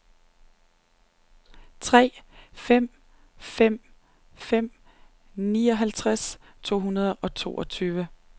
tre fem fem fem nioghalvtreds to hundrede og toogtyve